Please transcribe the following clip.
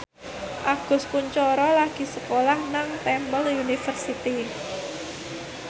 Agus Kuncoro lagi sekolah nang Temple University